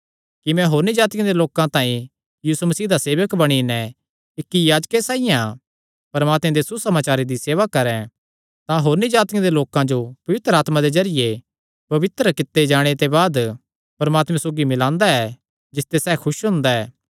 कि मैं होरनी जातिआं दे लोकां तांई यीशु मसीह दा सेवक बणी नैं इक्क याजकें साइआं परमात्मे दे सुसमाचारे दी सेवा करैं तां होरनी जातिआं दे लोकां जो पवित्र आत्मा दे जरिये पवित्र कित्ते जाणे ते बाद परमात्मे सौगी मिल्लांदा ऐ जिसते सैह़ खुस हुंदा ऐ